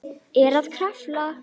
Er að krafla.